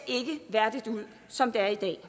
værdigt ud som det er i dag